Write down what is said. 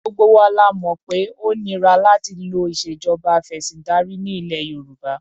Gbogbo wa la mọ̀ pé ó nira láti lo ìṣèjọba afẹ̀sìndarí ní ilẹ̀ Yorùbá.